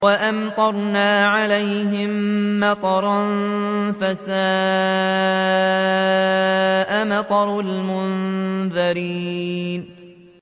وَأَمْطَرْنَا عَلَيْهِم مَّطَرًا ۖ فَسَاءَ مَطَرُ الْمُنذَرِينَ